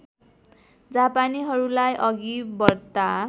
जापानीहरूलाई अघि बढ्ता